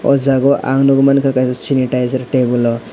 oh jagao ang nukgwi mankha kaisa sanitizer table o.